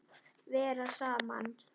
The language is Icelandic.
Vera saman.